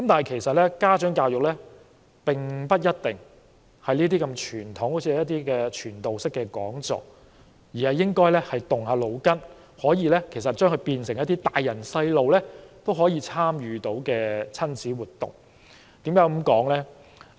其實，家長教育活動不一定是這麼傳統的傳道式講座，而是應該動動腦筋，使之變成一些家長和孩子都可以參與的親子活動。